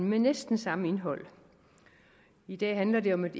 med næsten samme indhold i dag handler det om et